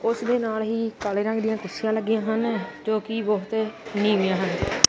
ਉਸ ਦੇ ਨਾਲ ਹੀ ਕਾਲੇ ਰੰਗ ਦੀਆਂ ਕੁਰਸੀਆਂ ਲੱਗੀਆਂ ਹਨ ਜੋ ਕਿ ਬਹੁਤ ਨੀਵੀਆਂ ਹਨ।